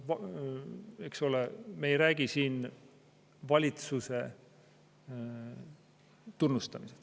Eks ole, me ei räägi siin valitsuse tunnustamisest.